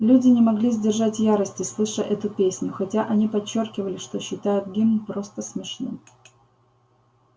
люди не могли сдержать ярости слыша эту песню хотя они подчёркивали что считают гимн просто смешным